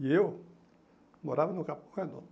E eu morava no Cabo Redondo.